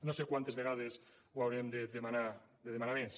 no sé quantes vegades ho haurem de demanar més